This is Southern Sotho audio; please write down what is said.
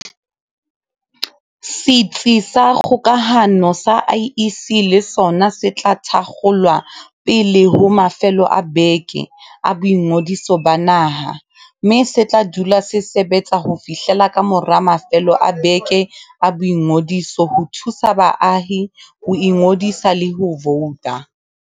Setsi sa kgokahano sa IEC le sona se tla thakgolwa pele ho mafelo a beke a boingodiso ba naha, mme se tla dula se sebe tsa ho fihlela kamora mafelo a beke a boingodiso ho thusa baahi ho ingodisa le ho vouta.